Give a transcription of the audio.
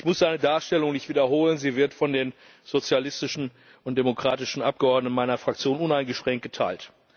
Ich muss seine Darstellung nicht wiederholen, sie wird von den sozialistischen und demokratischen Abgeordneten meiner Fraktion uneingeschränkt geteilt.